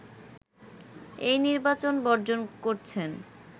এই নির্বাচন বর্জন করছেন